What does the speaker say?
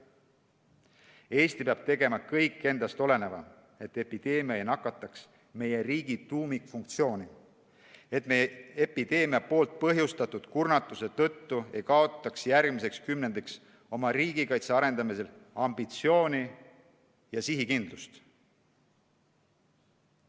Eesti peab tegema kõik endast oleneva, et epideemia ei nakataks meie riigi tuumikfunktsiooni, et me epideemia poolt põhjustatud kurnatuse tõttu ei kaotaks järgmiseks kümnendiks oma riigikaitse arendamisel ambitsiooni ja sihikindlust.